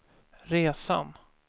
resan